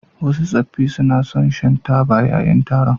Wasu tsoffi suna son shan taba yayin taron.